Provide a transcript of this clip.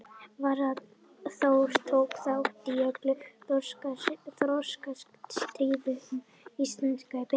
Varðskipið Þór tók þátt í öllum þorskastríðum Íslendinga og Breta.